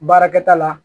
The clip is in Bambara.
Baarakɛta la